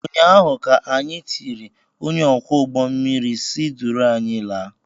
ụnyaahụ ka anyị tiri ,onye ọkwọ ụgbọ mmiri si duru anyị laa!